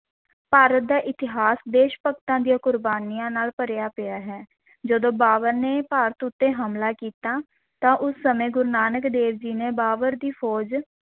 ਭਾਰਤ ਦਾ ਇਤਿਹਾਸ ਦੇਸ਼ ਭਗਤਾਂ ਦੀਆਂ ਕੁਰਬਾਨੀਆਂ ਨਾਲ ਭਰਿਆ ਪਿਆ ਹੈ ਜਦੋਂ ਬਾਬਰ ਨੇ ਭਾਰਤ ਉੱਤੇ ਹਮਲਾ ਕੀਤਾ ਤਾਂ ਉਸ ਸਮੇਂ ਗੁਰੂ ਨਾਨਕ ਦੇਵ ਜੀ ਨੇ ਬਾਬਰ ਦੀ ਫ਼ੌਜ